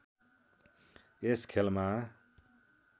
यस खेलमा